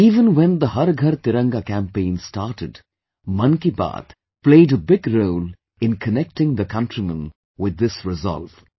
Even when the 'Har Ghar Tiranga' campaign started, 'Mann Ki Baat' played a big role in connecting the countrymen with this resolve